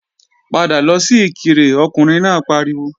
Padà lọ sí Ìkirè Ọkùnrin náà pariwo!